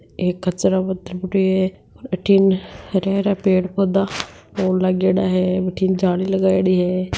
एक कचरा का डिब्बा रखी है बठन हरा-हरा पेड़ पौधा और लागेड़ा हैं बठन जाली लगायेडी हैं।